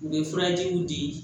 U bɛ furajiw di